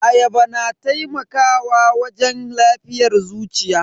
Ayaba na taimakawa wajen lafiyar zuciya.